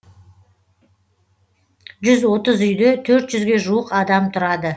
жүз отыз үйде төрт жүзге жуық адам тұрады